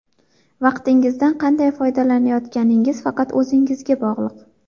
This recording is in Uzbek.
Vaqtingizdan qanday foydalanayotganingiz faqat o‘zingizga bog‘liq.